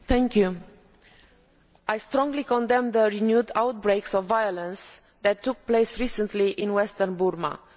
Mr President, I strongly condemn the renewed outbreaks of violence that took place recently in western Burma.